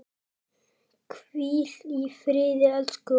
Hvíl í friði elsku Ósk.